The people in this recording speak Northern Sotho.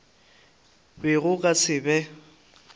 be go ka se be